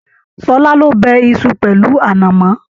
Ṣọlá ló bẹ̀ Isu pẹlu anamọ.